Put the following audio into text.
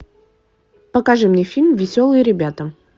покажи мне фильм веселые ребята